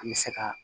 An bɛ se ka